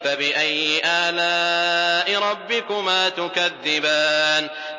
فَبِأَيِّ آلَاءِ رَبِّكُمَا تُكَذِّبَانِ